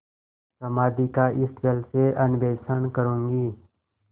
समाधि का इस जल से अन्वेषण करूँगी